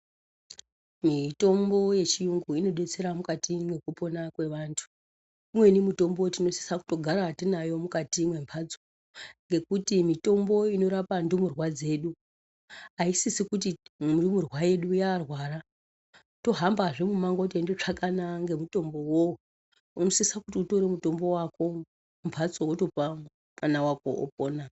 Mitombo yechiyungu inodetsera mukati mwekupona kwevantu. Imweni mitombo tinosisa kutogara tinayo mukati mwemhatso ngekuti mitombo inorapa ndumurwa dzedu haisisi kuti ndumurwa yedu yarwara tohambzve mumango teindotsvakana ngemitombo iwowo. Unosisa kuti utore mutombo wako mumbatso wotopa mwana wako opona.